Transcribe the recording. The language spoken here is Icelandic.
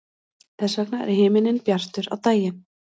þess vegna er himinninn bjartur á daginn